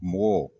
Mɔgɔ